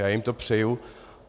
Já jim to přeji.